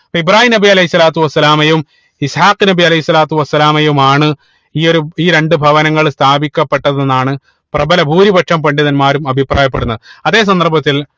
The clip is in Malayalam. പൊ ഇബ്രാഹീം നബി അലൈഹി സ്വലാത്തു വസ്സലാമയും ഇസ്ഹാഖ് നബി അലൈഹി സ്വലാത്തു വസ്സലാമയും ആണ് ഈ ഒരു ഈ രണ്ട് ഭവനങ്ങളും സ്ഥാപിക്കപ്പെട്ടതെന്നാണ് പ്രഭല ഭൂരിപക്ഷ പണ്ഡിതന്മാരും അഭിപ്രായപ്പെടുന്നത് അതേ സന്ദർഭത്തിൽ